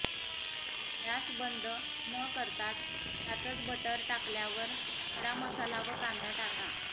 gas बंद नकरताच त्यातच बटर टाकल्यावर खडा मसाला व कांदा टाका